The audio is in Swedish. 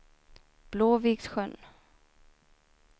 Blåviksjön